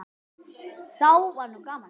Þá var nú gaman.